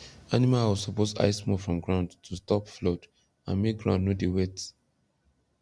animal house suppose high small from ground to stop flood and make ground no dey wet